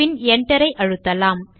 பின் Enter ஐ அழுத்தலாம்